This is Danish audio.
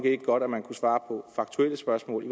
ikke godt at man kunne svare på faktuelle spørgsmål i